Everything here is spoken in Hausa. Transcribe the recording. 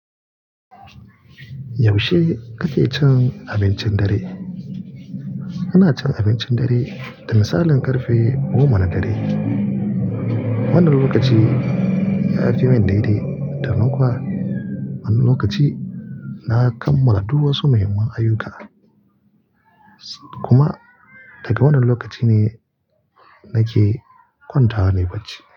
Yaushe kake cin abincin dare? Ina cin abincin dare da misalin ƙarfe goma na dare. Wannan lokaci ya ajiye min daidai, da nan kowa, wannan lokaci na kammala duk wasu muhimman ayuka. Kuma daga wannan lokaci ne nake kwanta ranai bacci.